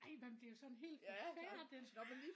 Ej man bliver jo sådan helt forfærdet